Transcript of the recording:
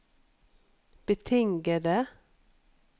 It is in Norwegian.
betingede